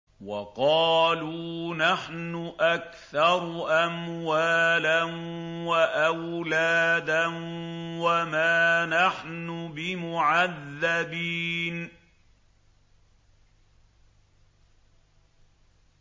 وَقَالُوا نَحْنُ أَكْثَرُ أَمْوَالًا وَأَوْلَادًا وَمَا نَحْنُ بِمُعَذَّبِينَ